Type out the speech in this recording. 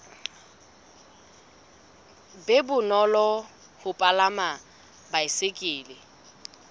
be bonolo ho palama baesekele